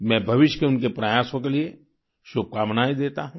मैं भविष्य के उनके प्रयासों के लिए शुभकामनाएं देता हूँ